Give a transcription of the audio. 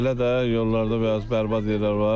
Belə də yollarda biraz bərbad yerlər var.